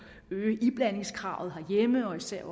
øge iblandingskravet herhjemme og især